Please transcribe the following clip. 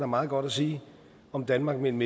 meget godt sige om danmark mellem